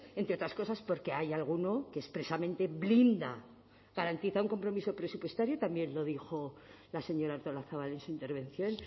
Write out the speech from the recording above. entre otras cosas porque hay alguno que expresamente blinda garantiza un compromiso presupuestario también lo dijo la señora artolazabal en su intervención